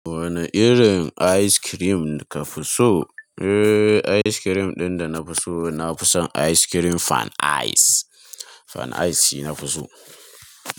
Wane irin ice cream ka fi so? Eh, ice cream ɗin da na fi so, na fi son ice cream fan ice. Fan ice shi na fi so.